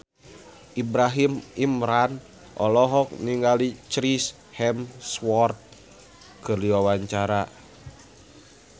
Ibrahim Imran olohok ningali Chris Hemsworth keur diwawancara